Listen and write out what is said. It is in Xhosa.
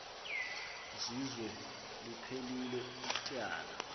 zizwe liphelil ityala